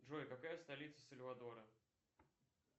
джой какая столица сальвадора